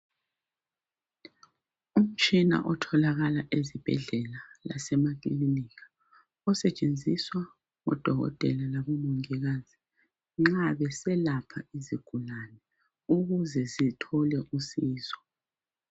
Umtshina othokakala ezibhedlela lasema kiliniki osetshenziswa ngodokotela labo mongikazi nxa beselapha izigulane ukuze zithole usizo.